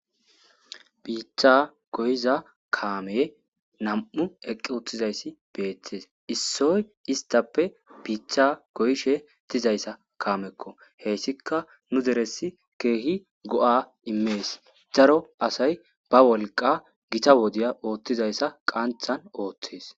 Bitra goyiza kammey namu eqi utizayisi bettesi issoyi isitappe bita goyishe dizak kamekko hayisikka nu deresi kehi ga immeesi daro asayi ba woliqa daro wodiyani ongizayisa qanithtni oththeesi